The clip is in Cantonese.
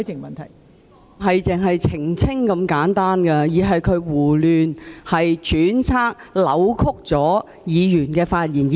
問題不止是澄清那麼簡單，而是她胡亂揣測、扭曲了議員的發言。